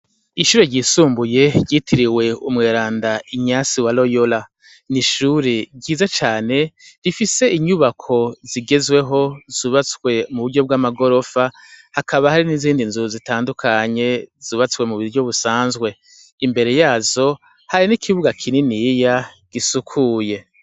Ishure ryisumbuye ryitiriwe umweranda Inyasi wa Royora n'ishure ryiza cane rifise inyubako zigezweho zubatswe m'uburyo bw'amagorofa hakaba hari n'izindinzu zubastwe m'uburyo busanzwe. Imbere yazo hari n'ikibuga kininiya gisukuye.